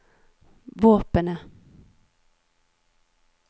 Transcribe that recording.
våpenet